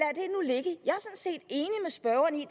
spørgeren i